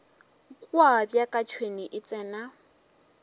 kua bjaka tšhwene e tsena